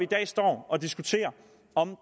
dag står og diskuterer om